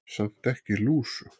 Samt ekki lúsug.